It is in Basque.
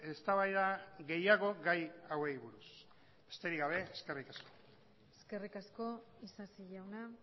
eztabaida gehiago gai hauei buruz besterik gabe eskerrik asko eskerrik asko isasi jauna